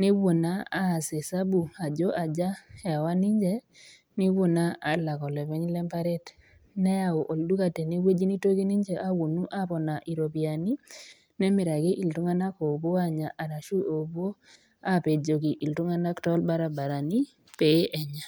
nepuo naa aas esabu ajo aja ewa ninche nepuo naa alak olopeny le emparet, neyau olduka tene wueji neitoki ninche awuonu aponaa iropiani, nemiraki iltung'ana oopuo aanya arashu oopuo apejoki iltung'ana too ilbaribarani pee Enya .